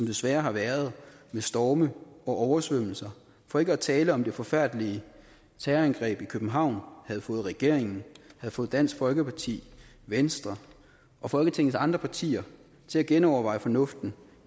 desværre har været med storme og oversvømmelser for ikke at tale om det forfærdelige terrorangreb i københavn havde fået regeringen havde fået dansk folkeparti venstre og folketingets andre partier til at genoverveje fornuften